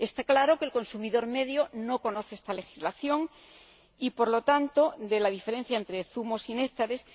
Está claro que el consumidor medio no conoce esta legislación ni, por lo tanto, la diferencia entre zumos y néctares.